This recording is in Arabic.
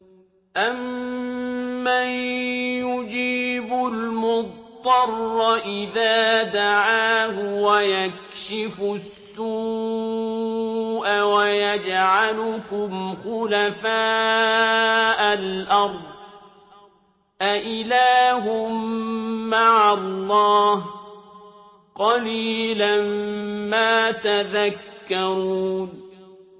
أَمَّن يُجِيبُ الْمُضْطَرَّ إِذَا دَعَاهُ وَيَكْشِفُ السُّوءَ وَيَجْعَلُكُمْ خُلَفَاءَ الْأَرْضِ ۗ أَإِلَٰهٌ مَّعَ اللَّهِ ۚ قَلِيلًا مَّا تَذَكَّرُونَ